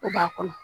O b'a kɔnɔ